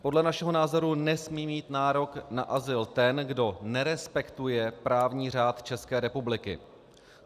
Podle našeho názoru nesmí mít nárok na azyl ten, kdo nerespektuje právní řád České republiky.